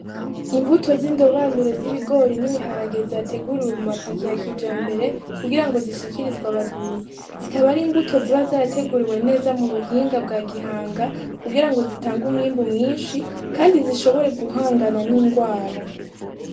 Imbuto zindobanure z'ibigori ,nibihagarahge zateguriwe muma pake ya kijambere kugirango zishikirizwe abarimyi. Zikaba ari imbuto zateguriwe neza mu buhinga bga gihanga kugirango zitange umwimbu mwinshi kandi zishobore gihanga ningwara .